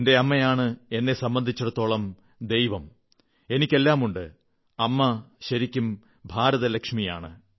എന്റെ അമ്മയാണ് എന്നെ സംബന്ധിടത്തോളം ദൈവം എനിക്ക് എല്ലാമുണ്ട് അമ്മ ശരിക്കും ഭാരതലക്ഷ്മിയാണ്